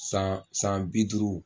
San san bi duuru